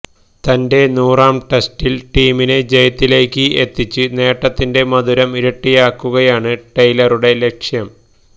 തന്റെ നൂറാം ടെസ്റ്റില് ടീമിനെ ജയത്തിലേക്ക് എത്തിച്ച് നേട്ടത്തിന്റെ മധുരം ഇരട്ടിയാക്കുകയാണ് ടെയ്ലറുടെ ലക്ഷ്യം